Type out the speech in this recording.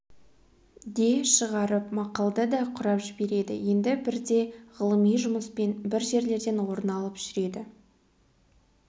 де шығарып мақалды да құрап жібереді енді бірде ғылыми жұмыспен бір жерлерден орын алып жүреді